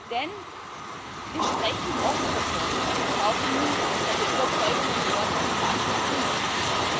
Denn wir sprechen oft davon, es brauche Mut, seine Überzeugungen in Worte zu fassen und kundzutun.